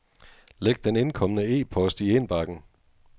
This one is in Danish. Læg den indkomne e-post i indbakken.